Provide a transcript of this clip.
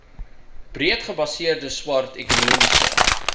breedgebaseerde swart ekonomiese